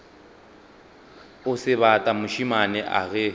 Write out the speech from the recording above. o sebata mošemane a ge